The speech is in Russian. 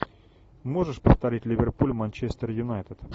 можешь повторить ливерпуль манчестер юнайтед